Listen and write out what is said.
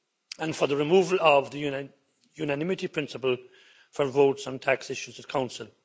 and for the removal of the unanimity principle for votes on tax issues at the Council.